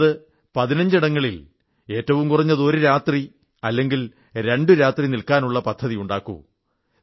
കുറഞ്ഞത് 15 ഇടങ്ങളിൽ കുറഞ്ഞത് ഒരു രാത്രി അല്ലെങ്കിൽ രണ്ടു രാത്രി നിൽക്കാനുള്ള പദ്ധതി ഉണ്ടാക്കൂ